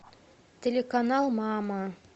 телеканал мама